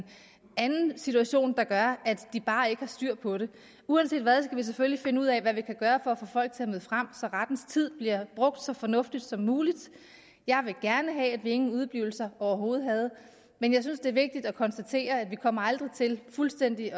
anden situation der gør at de bare ikke har styr på det uanset hvad skal vi selvfølgelig finde ud af hvad vi kan gøre for at få folk til at møde frem så rettens tid bliver brugt så fornuftigt som muligt jeg ville gerne have at vi ingen udeblivelser overhovedet havde men jeg synes det er vigtigt at konstatere at vi aldrig kommer til fuldstændig at